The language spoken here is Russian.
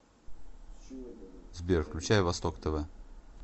сбер включай восток тв